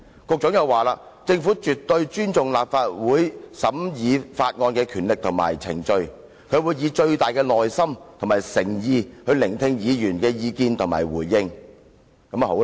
局長亦表示，政府絕對尊重立法會審議法案的權力及程序，他會以最大的耐心及誠意聆聽議員的意見及回應。